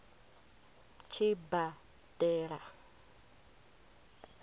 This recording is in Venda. tshibadela